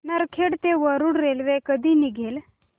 नरखेड ते वरुड रेल्वे कधी निघेल